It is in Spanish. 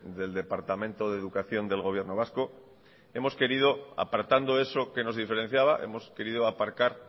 del departamento de educación del gobierno vasco hemos querido apartando eso que nos diferenciaba hemos querido aparcar